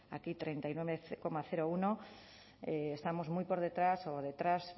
aquí treinta y nueve coma uno estamos muy por detrás o detrás